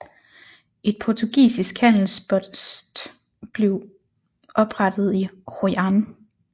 Et portugisisk handelspost blev oprettet i Hội An